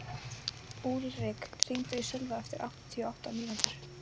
Úlrik, hringdu í Sölva eftir áttatíu og átta mínútur.